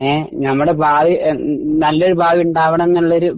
ഏ ഞമ്മടെ ഭാവി ഏ നല്ലൊരു ഭാവി ഉണ്ടാവണംന്നുള്ളൊരു